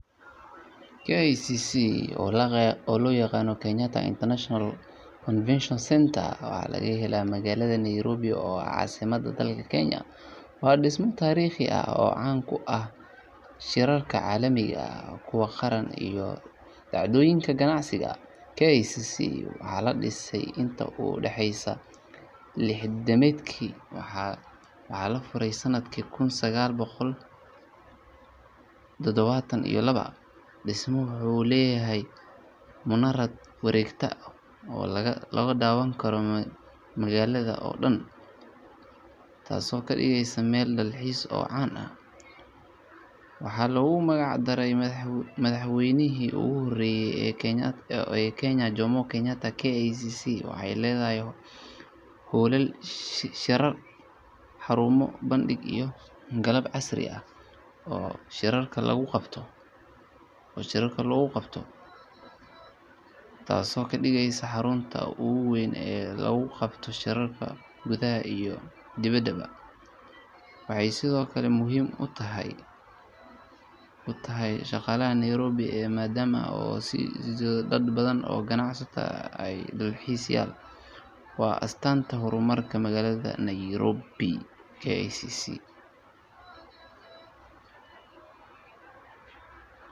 KICC oo loo yaqaan Kenyatta International Convention Centre waxaa laga helaa magaalada Nairobi oo ah caasimadda dalka Kenya. Waa dhismo taariikhi ah oo caan ku ah shirarka caalamiga ah, kuwa qaran iyo dhacdooyinka ganacsiga. KICC waxaa la dhisay intii u dhaxeysay lixdamaadkii waxaana la furay sanadkii kun sagaal boqol todobaatan iyo laba. Dhismuhu wuxuu leeyahay munaarad wareegta oo laga daawan karo magaalada oo dhan, taasoo ka dhigaysa meel dalxiis oo caan ah. Waxaa loogu magac daray madaxweynihii ugu horreeyay ee Kenya Jomo Kenyatta. KICC waxay leedahay hoolal shirar, xarumo bandhig iyo qalab casri ah oo shirarka lagu qabto, taasoo ka dhigaysa xarunta ugu weyn ee lagu qabto shirarka gudaha iyo dibedda. Waxay sidoo kale muhiim u tahay dhaqaalaha Nairobi maadaama ay soo jiidato dad badan oo ganacsato ah iyo dalxiisayaal. Waa astaanta horumarka magaalada Nairobi.